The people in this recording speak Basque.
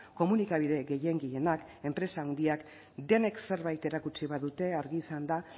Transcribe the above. komunikabide gehien gehienak enpresa handiak denek zerbait erakutsi badute argi izan da